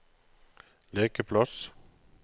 lekeplass